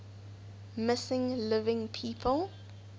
missing living people